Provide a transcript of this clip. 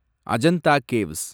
Ajanta caves